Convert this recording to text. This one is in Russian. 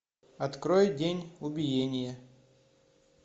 открой день убиения